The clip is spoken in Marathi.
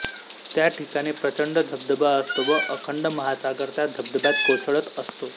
त्याठिकाणी प्रचंड धबधबा असतो व अखंड महासागर त्या धबधब्यात कोसळत असतो